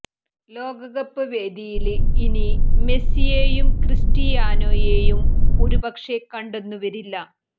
ലോകകപ്പ് വേദിയില് ഇനി മെസിയെയും കൃസ്റ്റിയാനോയെയും ഒരു പക്ഷേ കണ്ടെന്നും വരില്ല